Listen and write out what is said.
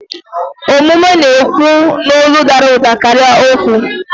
Omume na-ekwu n'olu dara ụda karịa okwu.